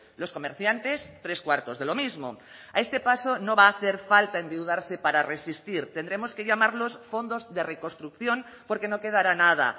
los comerciantes tres cuartos de lo mismo a este paso no va a hacer falta endeudarse para resistir tendremos que llamarlos fondos de reconstrucción porque no quedará nada